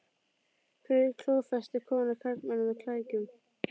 Hvernig klófestir kona karlmann með klækjum?